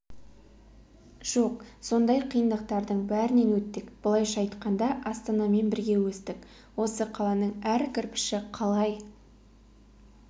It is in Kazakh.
жоқ сондай қиындықтардың бәрінен өттік былайша айтқанда астанамен бірге өстік осы қаланың әр кірпіші қалай